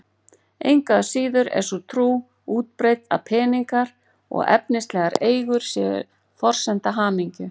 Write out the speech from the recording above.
Engu að síður er sú trú útbreidd að peningar og efnislegar eigur séu forsenda hamingju.